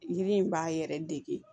Yiri in b'a yɛrɛ dege